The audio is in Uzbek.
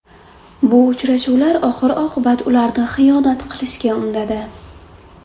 Bu uchrashuvlar oxir-oqibat ularni xiyonat qilishga undadi.